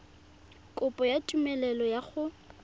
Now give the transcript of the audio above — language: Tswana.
kopo ya tumelelo ya go